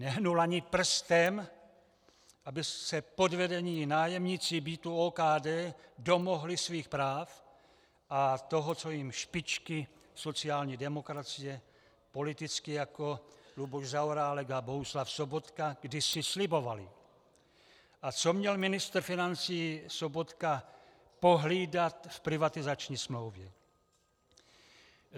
Nehnul ani prstem, aby se podvedení nájemníci bytů OKD domohli svých práv a toho, co jim špičky sociální demokracie, politici jako Luboš Zaorálek a Bohuslav Sobotka, kdysi slibovaly a co měl ministr financí Sobotka pohlídat v privatizační smlouvě.